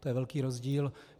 To je velký rozdíl.